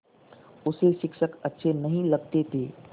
उसे शिक्षक अच्छे नहीं लगते थे